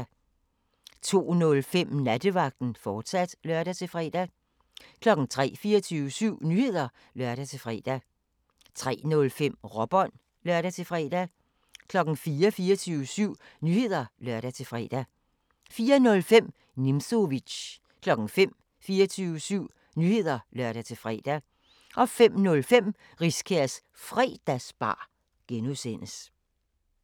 02:05: Nattevagten, fortsat (lør-fre) 03:00: 24syv Nyheder (lør-fre) 03:05: Råbånd (lør-fre) 04:00: 24syv Nyheder (lør-fre) 04:05: Nimzowitsch 05:00: 24syv Nyheder (lør-fre) 05:05: Riskærs Fredagsbar (G)